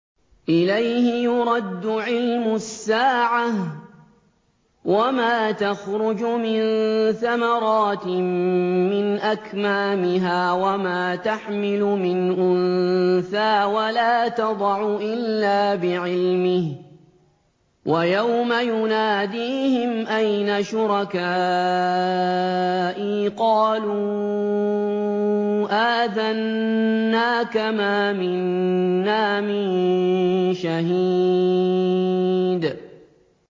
۞ إِلَيْهِ يُرَدُّ عِلْمُ السَّاعَةِ ۚ وَمَا تَخْرُجُ مِن ثَمَرَاتٍ مِّنْ أَكْمَامِهَا وَمَا تَحْمِلُ مِنْ أُنثَىٰ وَلَا تَضَعُ إِلَّا بِعِلْمِهِ ۚ وَيَوْمَ يُنَادِيهِمْ أَيْنَ شُرَكَائِي قَالُوا آذَنَّاكَ مَا مِنَّا مِن شَهِيدٍ